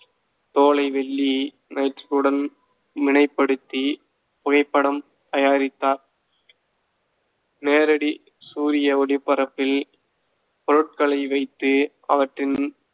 தோலை வெள்ளி நைட்~ உடன் வினைப்படுத்தி புகைப்படம் தயாரித்தார் நேரடி சூரிய ஒளிப்பரப்பில், பொருட்களை வைத்து அவற்றின்